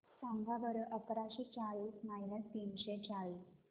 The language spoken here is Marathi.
सांगा बरं अकराशे चाळीस मायनस तीनशे चाळीस